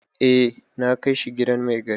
Eh na kai shi gidan mai gari.